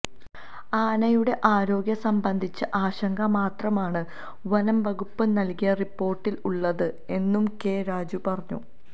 ആനയുടെ ആരോഗ്യം സംബന്ധിച്ച ആശങ്ക മാത്രമണ് വനം വകുപ്പ് നൽകിയ റിപ്പോർട്ടിൽ ഉള്ളത് എന്നും കെ രാജു പറഞ്ഞു